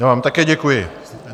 Já vám také děkuji.